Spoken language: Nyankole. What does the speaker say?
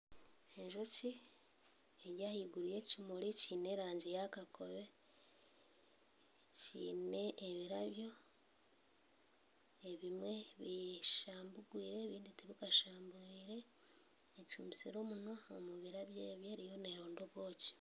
Enjoki eri ahaiguru y'ekimuri ekiine erangi ya kakobe kiine ebirabyo ebindi bishambukiire ebindi tibikashambwire ekumisire omunwa omu birabyo ebyo eriyo neeronda obwoki